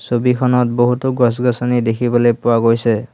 ছবিখনত বহুতো গছ গছনি দেখিবলৈ পোৱা গৈছে।